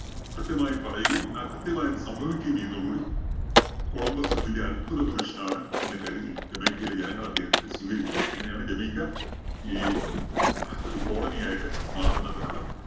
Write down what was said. കൃത്യമായി പറയുകയും, അത് കൃത്യമായി സംഭവിക്കുകയും ചെയ്യുന്നതോട് കൂടി കൊളംബസ് ഒരു വല്ല്യ അത്ഭുത പുരുഷനാണ് എന്ന് കരുതി ജമൈക്കയിലെ ജനങ്ങള്‍ അദ്ദേഹത്തിനെ സ്വീകരിക്കുകയാണ്. അങ്ങനെയാണ് ജമൈക്ക ഈ ഒരു colony ആയിട്ട് മാറുന്നതിനുള്ള